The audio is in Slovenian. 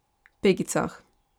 Pegicah.